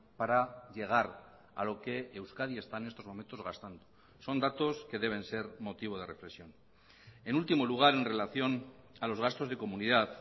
para llegar a lo que euskadi está en estos momentos gastando son datos que deben ser motivo de reflexión en último lugar en relación a los gastos de comunidad